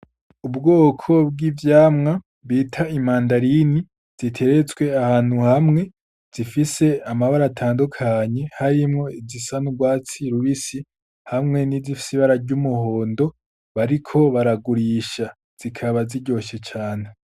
Ubwoko bw'ivyamwa bita imandarini ziteretswe ahantu hamwe zifise amabara atandukanye harimwo izisa n'urwatsi rubisi hamwe n'izifise ibara ry'umuhondo, bariko baragurisha zikaba ziryoshe cane.